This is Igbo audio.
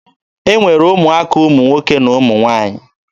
E nwere ụmụaka ụmụ nwoke na ụmụ nwaanyị.